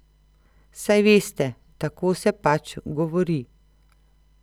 Saj veste, tako se pač govori.